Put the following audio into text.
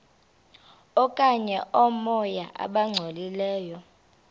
okanye oomoya abangcolileyo